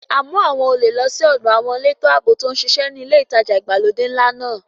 A mú àwọn olè lọ sí ọ̀dọ àwọn elétò ààbò tó ń ṣiṣẹ́ ní ilé ìtajà ìgbàlódé ńlá máa.